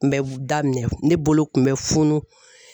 kun bɛ daminɛ ne bolo kun bɛ funun.